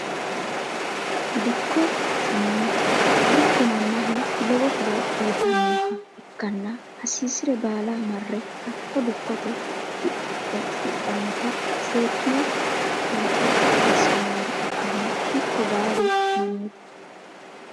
Dikko tene dikko manaho lawo horo uyitanoha ikkanna hasirire baala mare hakko dikote hidhanota seekine buuxo asinoniha ikana dikko baalu manite.